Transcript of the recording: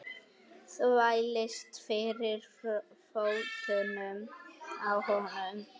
Þvælist fyrir fótunum á honum.